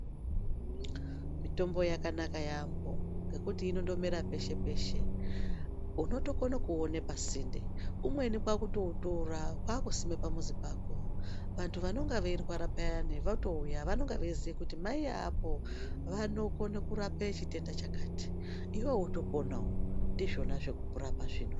Mitombo yakanaka yambho futi inondomera peshe peshe unotokona kuuone pasinde umweni kwakutoutora kwakusime pamuzi pako vantu vanenge veirwara payani votouya vanenge veiziya kuti mai veapo vanokona kurapa chitenda chakati iwewe wotoponawo ndizvona zvekurapa zvino.